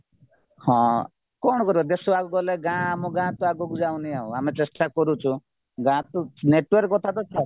ହଁ କ'ଣ କରିବା ଦେଶ ଆଗକୁ ଗଲେ ଗାଁ ଆମ ଗାଁ ତ ଆଗକୁ ଯାଉନି ଆଉ ଆମେ ଚେଷ୍ଟା କରୁଛୁ ଗାଁତ network କଥାତ ଛାଡ